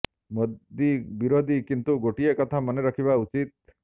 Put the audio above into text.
ମୋଦି ବିରୋଧୀ କିନ୍ତୁ ଗୋଟିଏ କଥା ମନେ ରଖିବା ଉଚିତ